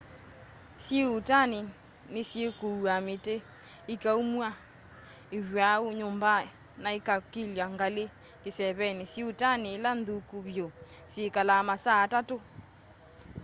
syĩuutani ni syikuua miti ikaumwa ivwaũ nyumbani na ikaukilywa ngali kiseveni syiũutani ila nthũkũ vyũ syikalaa masaa atatũ